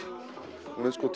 hún er sko